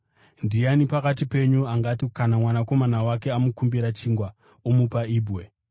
“Ndiani pakati penyu angati kana mwanakomana wake akamukumbira chingwa, omupa ibwe?